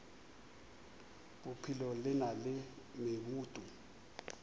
bophelo le na le meboto